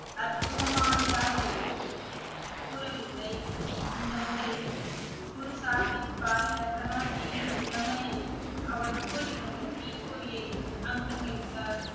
அற்புதமானதாகவோ கூறவில்லை இந்த முறை குரு சாகிப் பாய் லெஹனாஜியின் திறமையையும் அவருக்குள் இருந்த தீப்பொறியையும் அங்கீகரித்தார்